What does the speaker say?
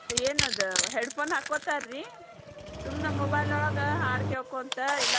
ಏನದ headphone ಹಾಕೊತಾರ್ರಿ ಸುಮ್ನ್ mobile ಒಳಗ್ ಹಾಡ್ ಕೇಳ್ಕೊಂತ ಇಲ್ಲ.